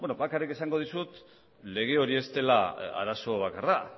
beno bakarrik esango dizut lege hori ez dela arazo bakarra